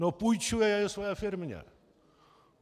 No půjčuje je své firmě.